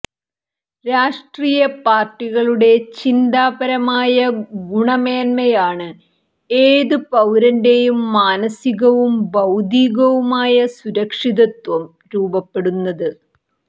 രാഷ്ട്രീയ പാര്ട്ടികളുടെ ചിന്താപരമായ ഗുണമേന്മയാണ് ഏതു പൌരന്റേയും മാനസികവും ഭൌതീകവുമായ സുരക്ഷിതത്വം രൂപപ്പെടുന്നത്